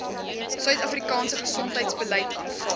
suidafrikaanse gesondheidsbeleid aanvaar